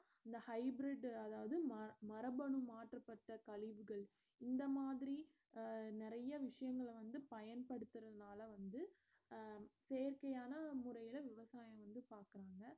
இந்த hybrid அதாவது ம~ மரபணு மாற்றப்பட்ட கழிவுகள் இந்த மாதிரி அஹ் நெறைய விஷயங்கள வந்து பயன் படுத்தறதனால வந்து அஹ் செயற்கையான முறையில விவசாயம் வந்து பாக்கறாங்க